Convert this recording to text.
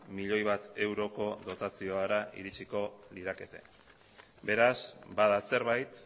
milioi bat euroko dotaziora iritsiko lirateke beraz bada zerbait